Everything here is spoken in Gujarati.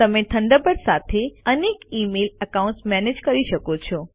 તમે થંડરબર્ડ સાથે અનેક ઇમેઇલ એકાઉન્ટ્સ મેનેજ કરી શકો છો